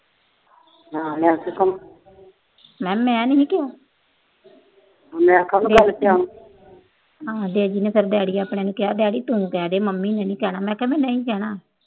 ਮੈਂ ਕਿਹਾ ਮੈਂ ਨਹੀਂ ਕਿਹਾ। ਡੇਜੀ ਨੂੰ ਕਹਿ ਡੈਡੀ ਆਪਣੇ ਨੂੰ ਕਹਿ, ਤੂੰ ਕਹਿ ਦੇ, ਮੰਮੀ ਨੇ ਨਹੀਂ ਕਹਿਣਾ।